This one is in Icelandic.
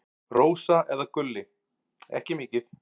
Rósa eða Gulli: Ekki mikið.